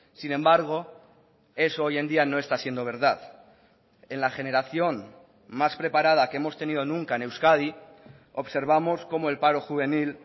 sin embargo eso hoy en día no está siendo verdad en la generación más preparada que hemos tenido nunca en euskadi observamos como el paro juvenil